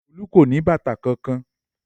Olú kò ní bàtà kankan.